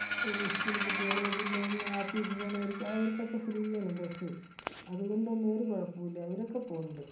ഇത് school കുട്ടികള് പിന്നെ ആപ്പീസ് പോണോർക്ക് അവർക്കൊക്കെ free ആണ് bus സ്സ്. അതുകൊണ്ടൊന്നും ഒരു കുഴപ്പോം ഇല്ല. അവരൊക്കെ പോണിണ്ട്.